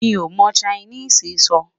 mí o mọ Chinese sọ